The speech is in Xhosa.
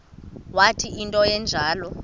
wathi into enjalo